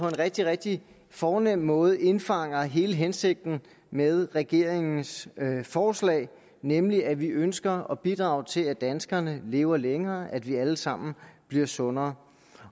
rigtig rigtig fornem måde indfanger hele hensigten med regeringens forslag nemlig at vi ønsker at bidrage til at danskerne lever længere at vi alle sammen bliver sundere